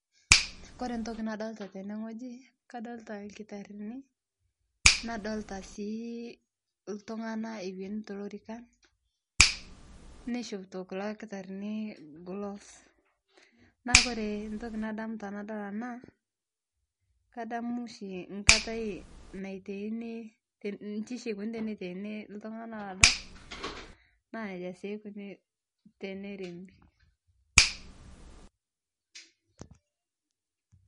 Kore entoki nadolita tenewuji, kadolita ilkitarini, nadolita sii iltunganak ewueni toolorikan. Neishopito kulo kitarini gloves naa ore intokitin nadamu tenadol ena naa kadamu oshi enkata neitei, iji oshie eikoni teneitaini tene iltunganak olodo naa jia sii eikoni teneremi